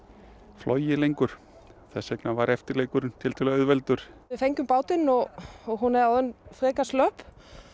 flogið lengur þess vegna var eftirleikurinn tiltölulega auðveldur við fengum bátinn og hún er orðin frekar slöpp